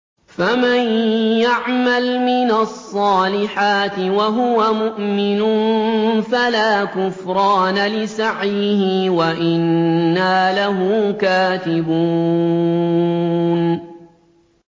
فَمَن يَعْمَلْ مِنَ الصَّالِحَاتِ وَهُوَ مُؤْمِنٌ فَلَا كُفْرَانَ لِسَعْيِهِ وَإِنَّا لَهُ كَاتِبُونَ